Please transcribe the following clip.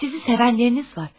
Sizi sevənləriniz var.